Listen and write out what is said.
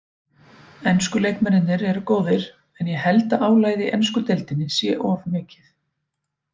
Ensku leikmennirnir eru góðir en ég held að álagið í ensku deildinni sé of mikið.